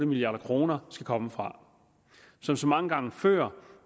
milliard kroner skal komme fra som så mange gange før